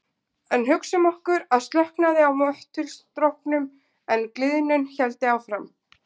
En hugsum okkur að slökknaði á möttulstróknum en gliðnun héldi áfram.